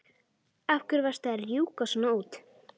Sirra, hvað er í dagatalinu í dag?